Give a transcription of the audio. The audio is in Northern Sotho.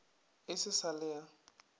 e se sa le a